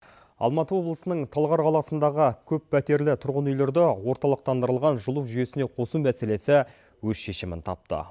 алматы облысының талғар қаласындағы көппәтерлі тұрғын үйлерді орталықтандырылған жылу жүйесіне қосу мәселесі өз шешімін тапты